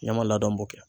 Ne ma ladamu kɛ